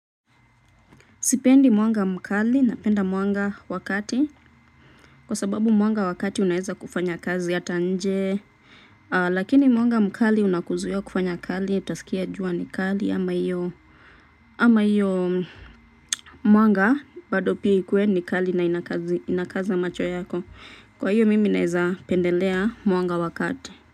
Sipendi mwanga mkali, napenda mwanga wa kati. Kwa sababu mwanga wa kati unaeza kufanya kazi hata nje. Lakini mwanga mkali unakuzuia kufanya kali, utasikia jua ni kali ama hiyo. Ama hiyo mwanga bado pia ikue ni kali na ina kazi inakaza macho yako. Kwa hiyo mimi naeza pendelea mwanga wa kati.